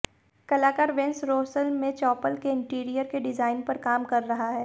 कलाकार Vence Rosaire में chapel के इंटीरियर के डिजाइन पर काम कर रहा है